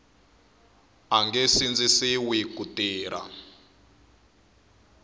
a nge sindzisiwi ku tirha